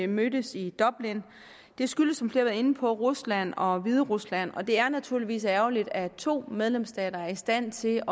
mødtes i dublin det skyldes som flere har været inde på rusland og hviderusland og det er naturligvis ærgerligt at to medlemsstater er i stand til